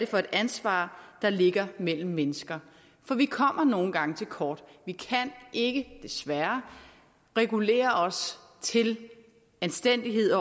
for et ansvar der ligger mellem mennesker for vi kommer nogle gange til kort vi kan ikke desværre regulere os til anstændighed